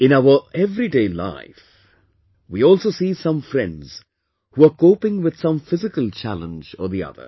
In our everyday life, we also see some friends who are coping with some physical challenge or the other